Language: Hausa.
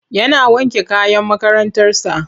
Yana wanke kayan makarantarsa.